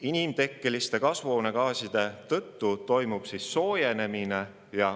Inimtekkeliste kasvuhoonegaaside tõttu toimub soojenemine.